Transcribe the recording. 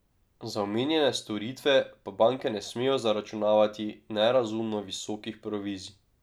Za omenjene storitve pa banke ne smejo zaračunavati nerazumno visokih provizij.